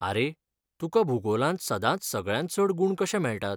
आरे, तुका भूगोलांत सदांच सगळ्यांत चड गूण कशे मेळटात?